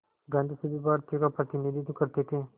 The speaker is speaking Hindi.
गांधी सभी भारतीयों का प्रतिनिधित्व करते थे